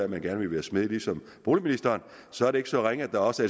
man gerne vil være smed ligesom boligministeren så er det ikke så ringe at der også